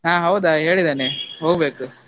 ಹಾ ಹೌದಾ ಹೇಳಿದ್ದಾನೆ, ಹೋಗ್ಬೇಕು.